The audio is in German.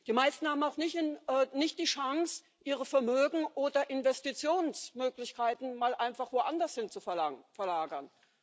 Die meisten haben auch nicht die Chance, ihre Vermögen oder Investitionsmöglichkeiten mal einfach woanders hin zu verlagern.